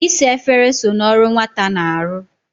Isa efere so n'ọrụ nwata na-arụ.